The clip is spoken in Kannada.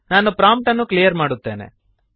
ನಾನು ಪ್ರಾಂಪ್ಟ್ಅನ್ನು ಕ್ಲಿಯರ್ ಮಾಡುತ್ತೇನೆ